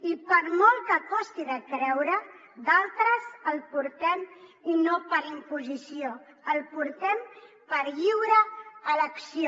i per molt que costi de creure d’altres el portem i no per imposició el portem per lliure elecció